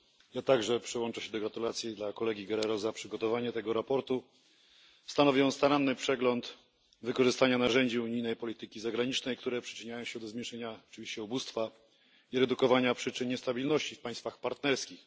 Ja także przyłączę się do gratulacji dla kolegi Guerrero za przygotowanie tego sprawozdania. Stanowi ono staranny przegląd wykorzystania narzędzi unijnej polityki zagranicznej, które przyczyniają się do zmniejszenia oczywiście ubóstwa i redukowania przyczyn niestabilności w państwach partnerskich.